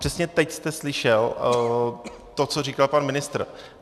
Přesně teď jste slyšel to, co říkal pan ministr.